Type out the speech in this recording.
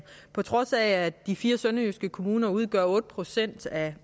på trods af at de fire sønderjyske kommuner udgør otte procent af